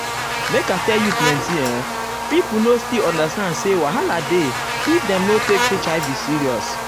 make i tell you plenti uhm pipo no still understand say wahala dey if dem no take hiv serious.